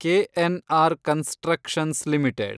KNR constructions limited